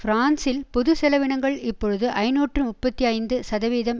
பிரான்சில் பொது செலவினங்கள் இப்பொழுது ஐநூற்று முப்பத்தி ஐந்து சதவீதம்